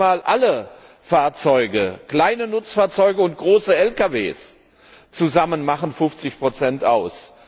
Noch nicht einmal alle Fahrzeuge kleine Nutzfahrzeuge und große Lkw zusammen machen 50 aus.